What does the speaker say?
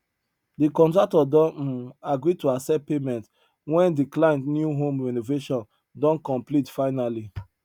de contractor don um agree to accept payment wen de client new home renovation don complete finally